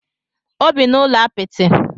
O bi n'ụlọ apịtị.